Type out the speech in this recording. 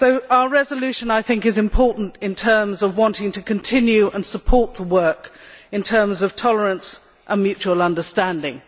Our resolution is important in terms of wanting to continue and support the work, in terms of tolerance and mutual understanding.